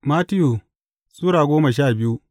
Mattiyu Sura goma sha biyu